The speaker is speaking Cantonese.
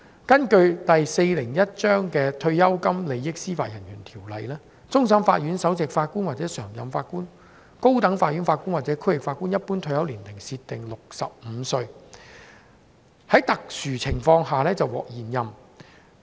根據第401章《退休金利益條例》，終審法院首席法官或常任法官、高等法院法官或區域法院法官一般退休年齡設定為65歲，在特殊情況下可獲延任。